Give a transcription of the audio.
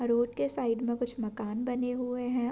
Road के side में कुछ मकान बने हुए हैं।